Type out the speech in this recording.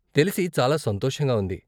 తెలిసి చాలా సంతోషంగా ఉంది.